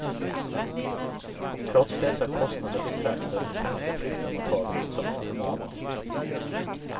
Och trots dessa kostnader betraktas det svenska flyktingmottagandet som inhumant.